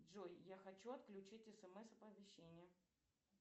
джой я хочу отключить смс оповещение